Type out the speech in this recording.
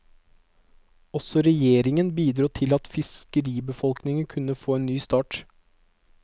Også regjeringen bidro til at fiskeribefolkningen kunne få en ny start.